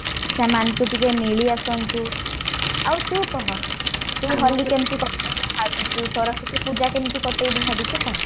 ସେମାନଙ୍କୁ ଟିକେ ମିଳି ଆସନ୍ତୁ ଆଉ ତୁ କହ ତୁ କାଲି କେମିତି କଟେଇବୁ ଭବିଛୁ ସରସ୍ଵତୀ ପୂଜା କେମିତି କଟେଇବୁ ଭାବିଛୁ କହ?